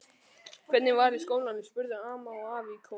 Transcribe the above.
Hvernig var í skólanum? spurðu amma og afi í kór.